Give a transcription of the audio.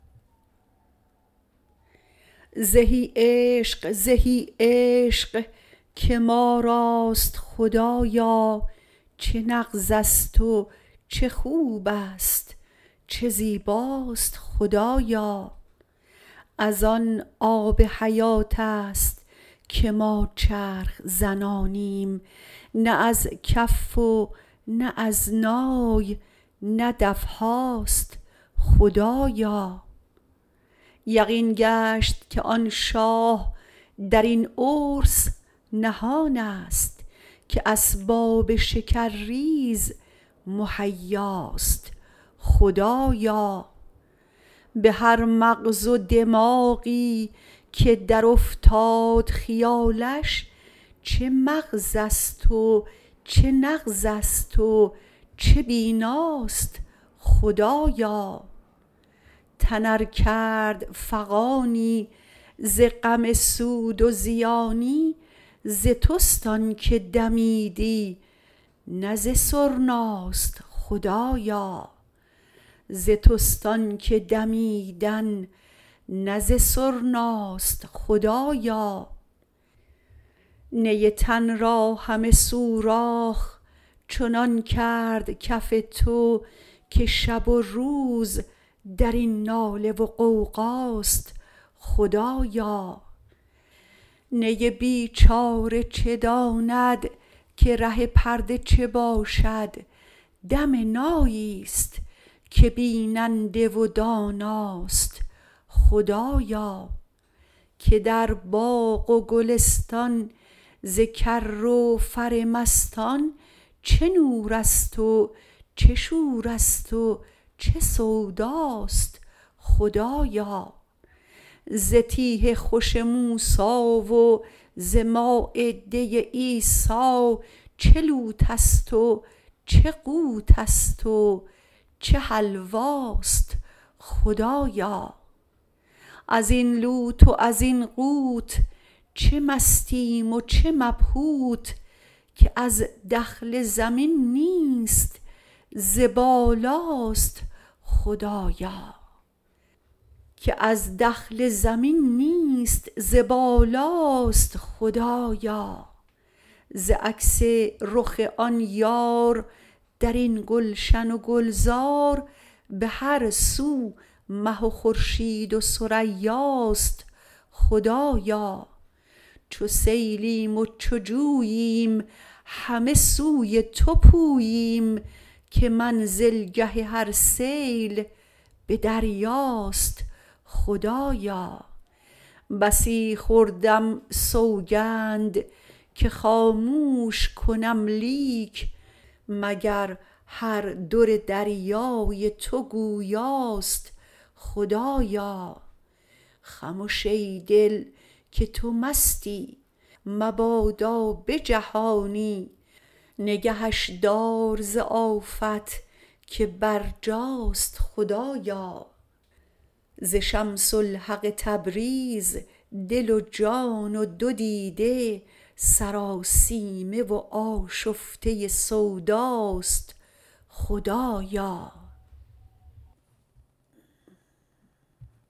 زهی عشق زهی عشق که ما راست خدایا چه نغزست و چه خوبست و چه زیباست خدایا از آن آب حیاتست که ما چرخ زنانیم نه از کف و نه از نای نه دف هاست خدایا یقین گشت که آن شاه در این عرس نهانست که اسباب شکرریز مهیاست خدایا به هر مغز و دماغی که درافتاد خیالش چه مغزست و چه نغزست چه بیناست خدایا تن ار کرد فغانی ز غم سود و زیانی ز تست آنک دمیدن نه ز سرناست خدایا نی تن را همه سوراخ چنان کرد کف تو که شب و روز در این ناله و غوغاست خدایا نی بیچاره چه داند که ره پرده چه باشد دم ناییست که بیننده و داناست خدایا که در باغ و گلستان ز کر و فر مستان چه نورست و چه شورست چه سوداست خدایا ز تیه خوش موسی و ز مایده عیسی چه لوتست و چه قوتست و چه حلواست خدایا از این لوت و زین قوت چه مستیم و چه مبهوت که از دخل زمین نیست ز بالاست خدایا ز عکس رخ آن یار در این گلشن و گلزار به هر سو مه و خورشید و ثریاست خدایا چو سیلیم و چو جوییم همه سوی تو پوییم که منزلگه هر سیل به دریاست خدایا بسی خوردم سوگند که خاموش کنم لیک مگر هر در دریای تو گویاست خدایا خمش ای دل که تو مستی مبادا به جهانی نگهش دار ز آفت که برجاست خدایا ز شمس الحق تبریز دل و جان و دو دیده سراسیمه و آشفته سوداست خدایا